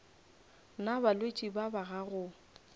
na balwetši ba ba gago